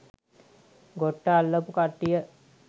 ගොට්ට අල්ලපු කට්ටිය